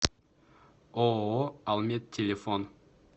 ооо алмет телефон